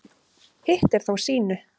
Hitt er þó sýnu